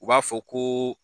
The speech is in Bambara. U b'a fɔ ko